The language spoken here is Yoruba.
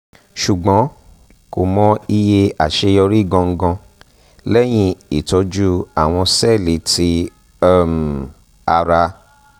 ṣugbọn ko mọ iye aṣeyọri gangan lẹhin itọju awọn sẹẹli ti um ara